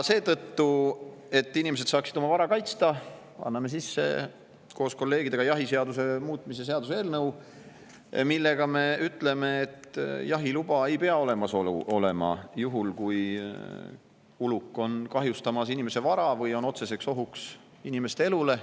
Selleks, et inimesed saaksid oma vara kaitsta, anname koos kolleegidega sisse jahiseaduse muutmise seaduse eelnõu, mille kohaselt me ütleme, et jahiluba ei pea olemas olema juhul, kui uluk kahjustab inimese vara või on otsene oht inimeste elule.